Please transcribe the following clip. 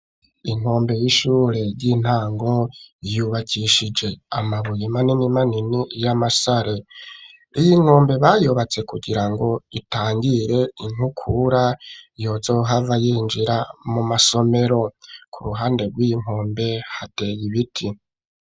Inkombe y'ishure ry'intango yubakishije amabuye manini manini y'amasare, iyi nkombe bayubatse kugira ngo itangire inkukura yozohava yinjira mu masomero, ku ruhande rwi yi nkombe hateye ibiti.